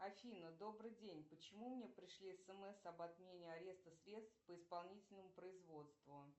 афина добрый день почему мне пришли смс об отмене ареста средств по исполнительному производству